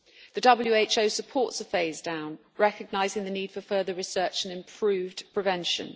The WHO supports a phase down, recognising the need for further research and improved prevention.